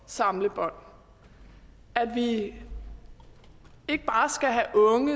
samlebånd at vi ikke bare skal have unge